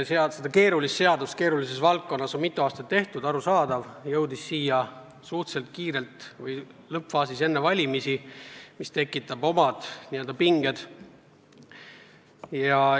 Seda keerulist seadust keerulises valdkonnas on mitu aastat tehtud ja muidugi on arusaadav, et see jõudis siia suhteliselt lõppfaasis enne valimisi, mis tekitab omad pinged.